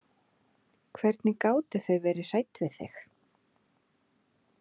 Hvernig gátu þau verið hrædd við þig?